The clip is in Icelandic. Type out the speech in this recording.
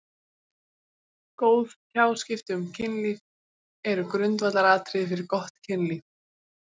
Góð tjáskipti um kynlíf eru grundvallaratriði fyrir gott kynlíf.